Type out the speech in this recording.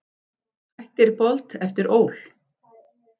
Hættir Bolt eftir ÓL